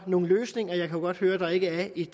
nogle løsninger jeg kan godt høre der ikke er